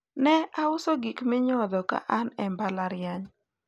ne auso gik minyodho ka an e mbalariany